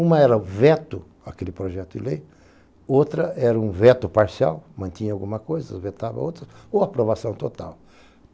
Uma era o veto, aquele projeto de lei, outra era um veto parcial, mantinha alguma coisa, vetava outra, ou aprovação total.